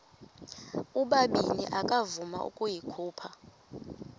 ubabini akavuma ukuyikhupha